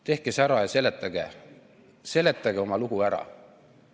Tehke see ära ja seletage oma lugu ära!